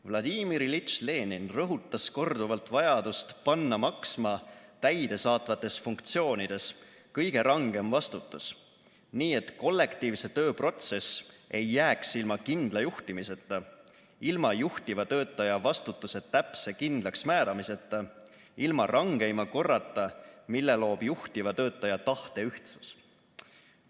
V. I. Lenin rõhutas korduvalt vajadust panna maksma täidesaatvates funktsioonides kõige rangem vastutus, nii et kollektiivse töö protsess ei jääks ilma kindla juhtimiseta, ilma juhtiva töötaja vastutuse täpse kindlaksmääramiseta, ilma rangeima korrata, mille loob juhtiva töötaja tahteühtsus.